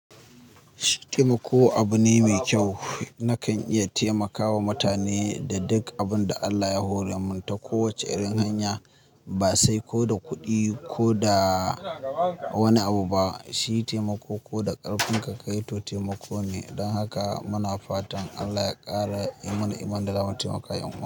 Taimako abu ne mai kyau. Nakan iya taimakawa mutane da duk abin da Allah ya hore mu ta kowace irin hanya, ba sai ko da kuɗi ko da wani abu ba. Shi taimako ko da ƙarfin ka ka yi to taimako ne. Don haka muna fatan Allah ya ƙara mana iman da lafiyar mu.